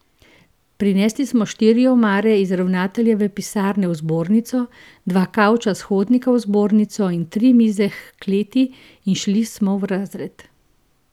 Prinesli smo štiri omare iz ravnateljeve pisarne v zbornico, dva kavča s hodnika v zbornico in tri mize h kleti in šli smo v razred.